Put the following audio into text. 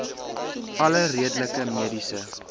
alle redelike mediese